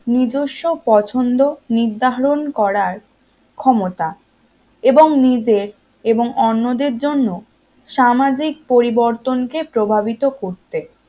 নিজস্ব পছন্দ নির্ধারণ করার ক্ষমতা এবং নিজের এবং অন্যদের জন্য সামাজিক পরিবর্তনকে প্রভাবিত করতে